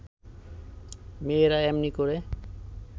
মেয়েরা এমনি করে